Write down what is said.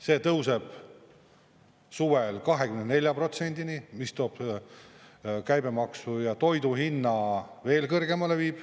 See tõuseb suvel 24%-ni, mis viib käibemaksu ja toiduhinna veel kõrgemale.